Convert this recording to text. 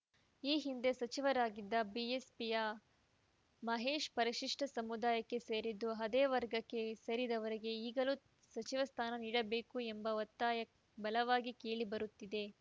ಈ ಹಿಂದೆ ಸಚಿವರಾಗಿದ್ದ ಬಿಎಸ್‌ಪಿಯ ಮಹೇಶ್‌ ಪರಿಶಿಷ್ಟಸಮುದಾಯಕ್ಕೆ ಸೇರಿದ್ದು ಅದೇ ವರ್ಗಕ್ಕೆ ಸೇರಿದವರಿಗೆ ಈಗಲೂ ಸಚಿವ ಸ್ಥಾನ ನೀಡಬೇಕು ಎಂಬ ಒತ್ತಾಯ ಬಲವಾಗಿ ಕೇಳಿ ಬರುತ್ತಿದೆ